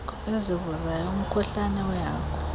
ezivuzayo umkhuhlane wehagu